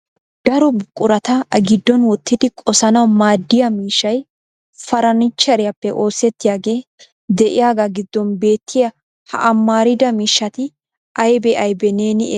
Daro buqurata a giddon wottidi qossanaw maaddiya miishshay farannicheriyappe oosettiyaage de'iyaaga giddon beettiya ha amarida miishshati aybbe aybbe neeni eray?